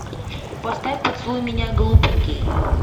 поставь поцелуй меня глупенький